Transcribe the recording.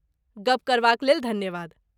गप करबाक लेल धन्यवाद।